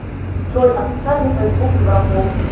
джой официальный фейсбук европол